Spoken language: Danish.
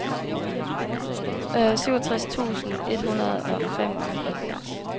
syvogtres tusind et hundrede og femoghalvfjerds